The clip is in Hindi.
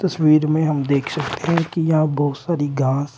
तस्वीर में हम देख सकते है कि यहां बहोत सारी घास--